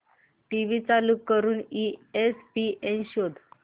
TV चालू करून ESPN शोध